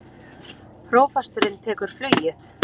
Prófasturinn tekur flugið